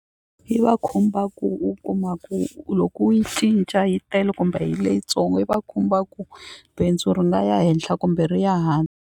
Yi va khumba ku u kuma ku loko u yi cinca yi tele kumbe hi leyintsongo yi va khumba ku bindzu ri nga ya henhla kumbe ri ya .